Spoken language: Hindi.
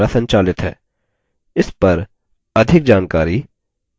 इस पर अधिक जानकारी निम्न लिंक पर उपलब्ध है